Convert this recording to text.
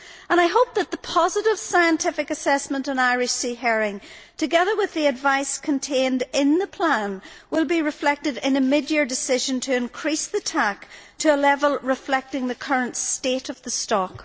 I hope that the positive, scientific assessment on Irish Sea herring, together with the advice contained in the plan, will be reflected in a mid year decision to increase the TAC to a level reflecting the current state of the stock.